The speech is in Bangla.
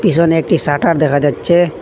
পিছনে একটি শাটার দেখা যাচ্ছে।